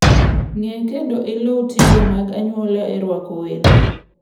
Ng'e kendo iluw timbe mag anyuola e rwako welo.